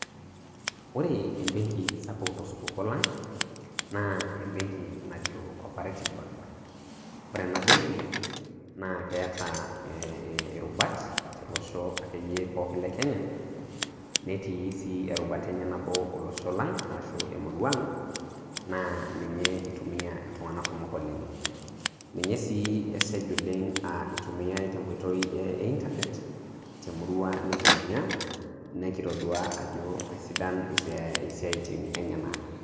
Ore ebenki sapul tosupuko lang naa ebenki najo [cscoperative bank ore enabenki naa keeta ee irubat tolosho akeyie pooki lekenya, netii sii erubata enye nabo olosho lang, ashu emurua ang, na ninye itumia iltungana kumok oleng, ninye si esej itumiyai tenkoitoi eitanet temurua nikimanya nikitodua ajo isidan isiatin enyanak,